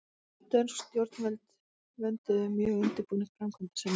Dönsk stjórnvöld vönduðu mjög undirbúning framkvæmda sinna.